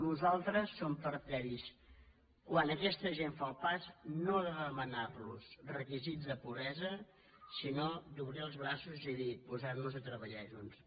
nosaltres som partidaris que quan aquesta gent fa el pas no de demanar los requisits de puresa sinó d’obrir els braços i dir posem nos a treballar junts